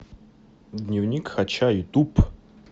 дневник хача ютуб